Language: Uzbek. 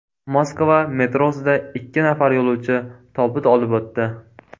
Moskva metrosida ikki nafar yo‘lovchi tobut olib o‘tdi.